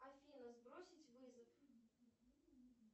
афина сбросить вызов